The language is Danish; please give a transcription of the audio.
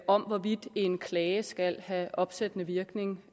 om hvorvidt en klage skal have opsættende virkning